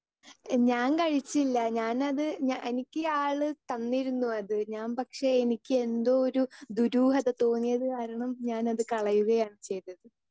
Speaker 2 ഞാൻ കഴിച്ചില്ല ഞാനത് ഞ എനിക്ക് ആള് തന്നിരുന്നു അത് ഞാൻ പക്ഷേ എനിക്ക് എന്തോ ഒരു ദുരൂഹത തോന്നിയത് കാരണം ഞാൻ അത് കളയുകയാണ് ചെയ്തത്.